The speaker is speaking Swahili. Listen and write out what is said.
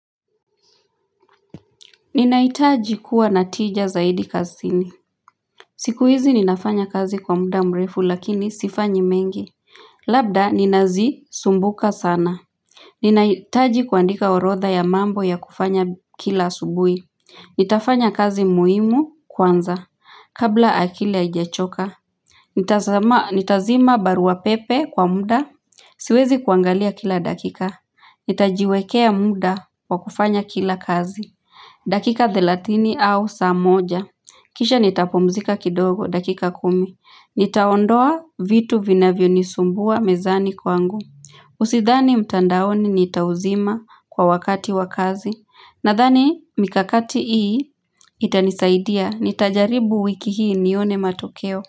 Ninaitaji kuwa na tija zaidi kasini siku hizi ninafanya kazi kwa muda mrefu lakini sifanyi mengi Labda ninazisumbuka sana Ninaitaji kuandika orotha ya mambo ya kufanya kila asubui Nitafanya kazi muhimu kwanza kabla akili haijachoka Nitazima barua pepe kwa muda Siwezi kuangalia kila dakika Nitajiwekea muda kwa kufanya kila kazi dakika thelatini au saa moja. Kisha nitapumzika kidogo. Dakika kumi. Nitaondoa vitu vinavyo nisumbua mezani kwangu. Usithani mtandaoni nitauzima kwa wakati wa kazi. Nathani mikakati ii itanisaidia. Nitajaribu wiki hii nione matokeo.